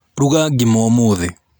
Ruga ngima ũmũthĩ.